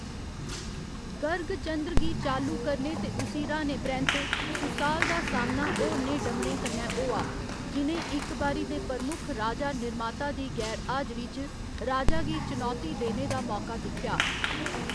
गर्गचंद्र गी चालू करने ते उसी र्‌हाने परैंत्त, सुसाल दा सामना होरनें डमरें कन्नै होआ, जि'नें इक बारी दे प्रमुख राजा निर्माता दी गैर हाजरी च राजा गी चनौती देने दा मौका दिक्खेआ।